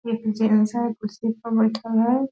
एक जेंट्स हैं कुर्सी पर बैठल है।